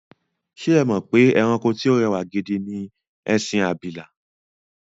Ṣé o mọ̀ pé ẹranko tí o rẹwà gidi ni ẹṣin abìlà?